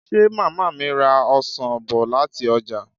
Ṣé màmá mi ra ọsàn bọ̀ láti ọjà?